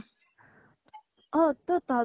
অ । ত তহঁতৰ